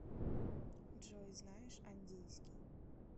джой знаешь андийский